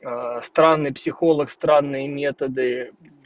странный психолог странные методы